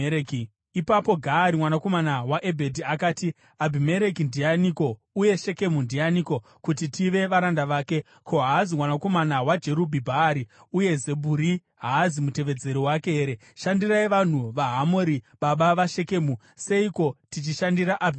Ipapo Gaari mwanakomana waEbhedhi akati, “Abhimereki ndianiko uye Shekemu ndianiko, kuti tive varanda vake? Ko, haazi mwanakomana waJerubhi-Bhaari, uye Zebhuri haazi mutevedzeri wake here? Shandirai vanhu vaHamori, baba vaShekemu! Seiko tichishandira Abhimereki?